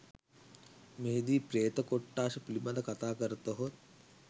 මෙහිදී ප්‍රේත කොට්ඨාස පිළිබඳ කතා කරතහොත්